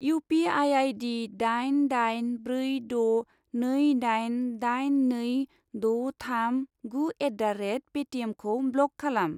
U P I I D दाइन दाइन ब्रै द' नै दाइन दाइन नै द' थाम गु एट दा रेट पेटिएमखौ ब्लक खालाम।